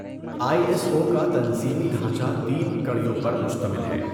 آئی S O کا تنظیمی ڈھانچہ تین کَڑیوں پر مشتمل ہے۔